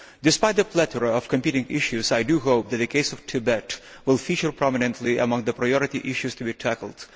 Despite the plethora of competing issues, I hope that the case of Tibet will feature prominently among the priority issues to be tackled.